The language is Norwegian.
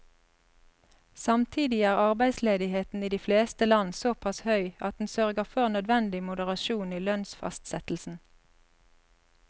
Samtidig er arbeidsledigheten i de fleste land såpass høy at den sørger for nødvendig moderasjon i lønnsfastsettelsen.